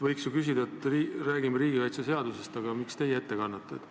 Võiks ju küsida, et jutt on riigikaitseseadusest ning miks teie seda ette kannate.